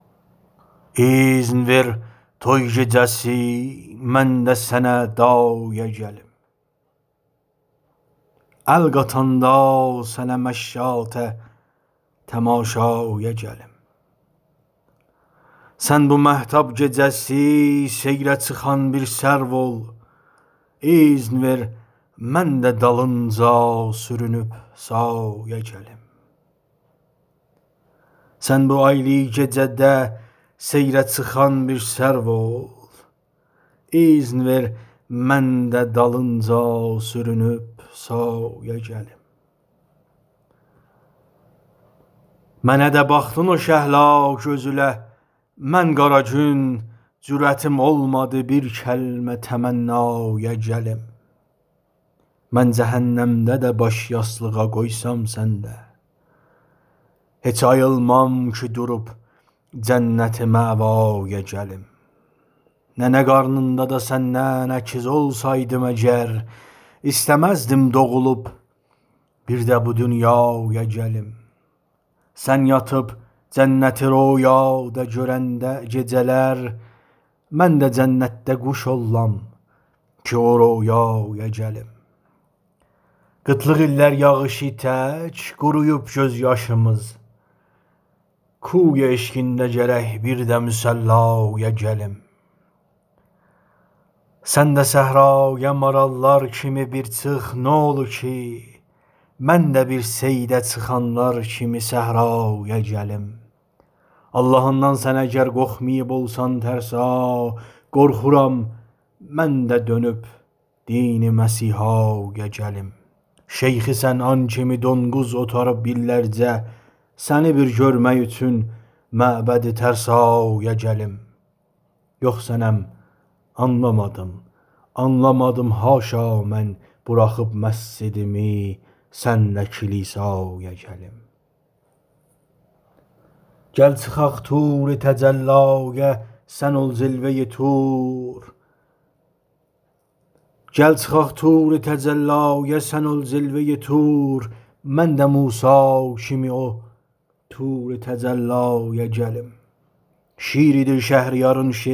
ایذن ویر توی گیجه سی من ده سنه دایه گلیم ال قاتاندا سنه مشاطه تماشایا گلیم سن بو آیلی گیجه ده سییره چیخان بیر سرو اول ایذن ویر من ده دالینجا سورونوب سایه گلیم منه ده باخدین او شهلا گؤزوله من قارا گون جوریتیم اولمادی بیر کلمه تمنایه گلیم من جهنم ده ده باش یاسدیقا قویسام سنیله هیچ آییلمام کی دوروب جنت مأوایا گلیم ننه قارنیندا سنله ایگیز اولسایدیم اگر ایسته مزدیم دوغولوب بیرده بو دونیایا گلیم سن یاتیب جنتی رؤیادا گؤرنده گیجه لر من ده جنتده قوش اوللام کی او رؤیایا گلیم قیتیلیغ ایللر یاغیشی تک قورویوب گؤز یاشیمیز کوی عشقینده گرک بیرده مصلایه گلیم سنده صحرایه ماراللار کیمی بیر چیخ نولوکی منده بیر صییده چیخانلار کیمی صحرایه گلیم آللاهیندان سن اگر قورخماییب اولسان ترسا قورخورام منده دؤنوب دین مسیحایه گلیم شیخ صنعان کیمی دونقوز اوتاریب ایللرجه سنی بیر گؤرمک اوچون معبد ترسایه گلیم یوخ صنم آنلامادیم آنلامادیم حاشا من بوراخیب مسجدیمی سنله کلیسایه گلیم گل چیخاق طور تجلایه سن اول جلوه ای طور من ده موسا کیمی اول طوره تجلایه گلیم شیردیر شهریارین شعری الینده شمشیر کیم دییر من بیله بیر شیریله دعوایه گلیم ۱۳۵۳